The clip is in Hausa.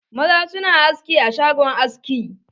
Maza su na aski a shagon aski.